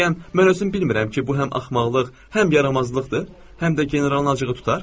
Bəyəm mən özüm bilmirəm ki, bu həm axmaqlıq, həm yaramazlıqdır, həm də generalın acığı tutar?